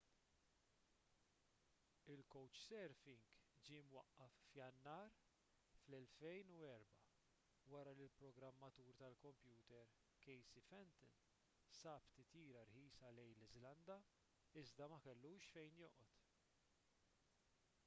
il-couchsurfing ġie mwaqqaf f'jannar 2004 wara li l-programmatur tal-kompjuter casey fenton sab titjira rħisa lejn l-iżlanda iżda ma kellux fejn joqgħod